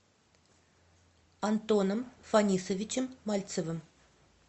антоном фанисовичем мальцевым